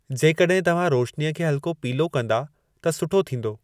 जेकॾहिं तव्हां रोशनीअ खे हल्को पीलो कंदा त सुठो थींदो